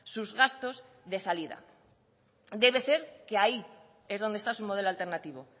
sus gastos de salida debe ser que ahí es donde está su modelo alternativo